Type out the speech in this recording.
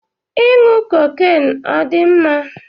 Ịṅụ cocaine ọ dị mma?